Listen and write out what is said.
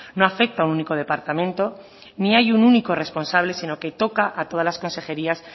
no afecta a un único departamento ni hay un único responsable sino que toca a todas las consejerías